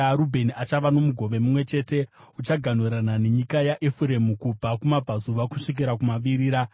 Rubheni achava nomugove mumwe chete; uchaganhurana nenyika yaEfuremu kubva kumabvazuva kusvikira kumavirira.